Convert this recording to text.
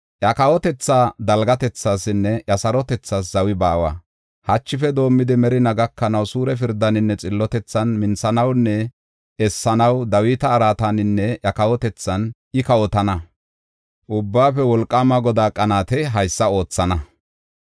Iya kawotethaa dalgatethaasinne iya sarotethaas zawi baawa. Hachife doomidi, merinaa gakanaw suure pirdaaninne xillotethan minthanawunne essanaw Dawita araataninne iya kawotethan I kawotana. Ubbaafe Wolqaama Godaa qanaatey haysa oothana.